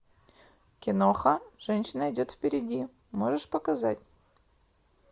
киноха женщина идет впереди можешь показать